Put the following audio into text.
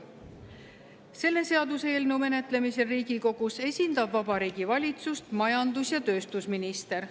Selle seaduseelnõu menetlemisel Riigikogus esindab Vabariigi Valitsust majandus- ja tööstusminister.